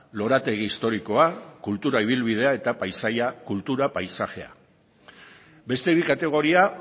lorategi historikoa kultura ibilbidea eta paisaia kultura paisajea beste bi kategoria